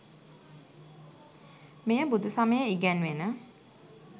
මෙය බුදුසමයේ ඉගැන්වෙන